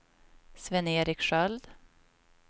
Sven-Erik Sköld